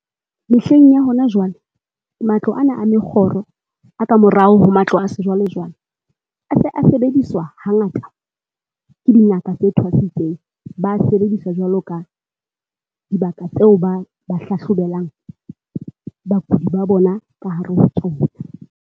Mehleng ya hona jwale matlo ana a mekgoro a ka morao ho matlo a sejwale-jwale, a se a sebediswa hangata ke dingaka tse thwasitseng. Ba a sebedisa jwalo ka dibaka tseo ba ba hlahlobelang bakudi ba bona ka hare ho tsona.